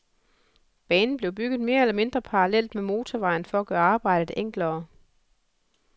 Banen blev bygget mere eller mindre parallelt med motorvejen for at gøre arbejdet enklere.